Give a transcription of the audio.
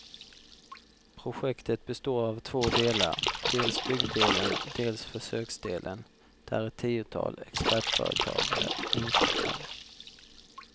Projektet består av två delar, dels byggdelen, dels försöksdelen, där ett tiotal expertföretag är inkopplade.